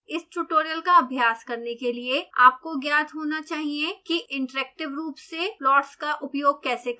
इस ट्यूटोरियल का अभ्यास करने के लिए आपको ज्ञात होना चाहिए कि इंटरैक्टिव रूप से प्लॉट्स का उपयोग कैसे करें